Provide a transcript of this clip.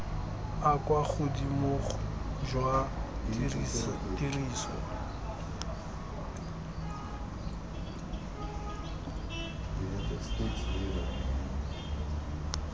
a kwa godimo jwa tiriso